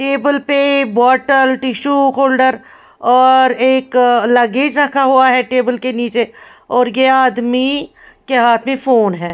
Table पे बोतल tissue holder और एक लगेज रखा हुआ है टेबल के नीचे और ये आदमी के हाथ में फोन है ।